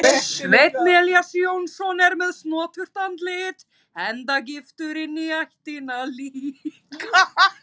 Sveinn Elías Jónsson er með snoturt andlit enda giftur inní ættina líka.